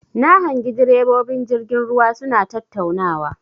Na hangi ɗirebobin jirgin ruwa suna tattaunawa.